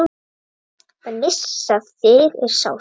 Að missa þig er sárt.